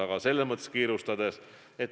Aga see otsus tehti kiirustades.